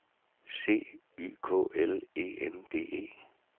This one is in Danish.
C Y K L E N D E